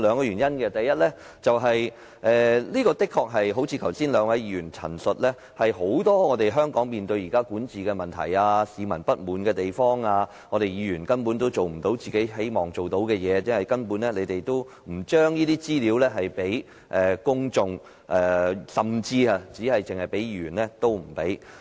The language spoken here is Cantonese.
原因有二：第一，誠如剛才兩位議員所述，香港現時面對很多管治問題，市民有不滿意的地方，而議員亦做不到自己想做的事，因為政府拒絕把資料給予公眾，甚至拒絕給予議員。